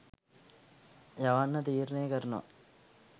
යවන්න තීරණය කරනවා